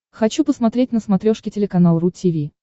хочу посмотреть на смотрешке телеканал ру ти ви